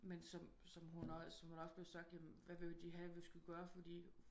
Men som som hun hun der også blev sagt hvad ville de have vi skulle gøre fordi